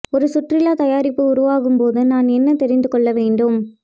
ஒரு சுற்றுலா தயாரிப்பு உருவாக்கும் போது நான் என்ன தெரிந்து கொள்ள வேண்டும்